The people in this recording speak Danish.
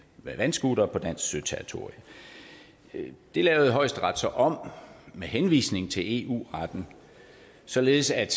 med vandscootere på dansk søterritorie det lavede højesteret så om med henvisning til eu retten således at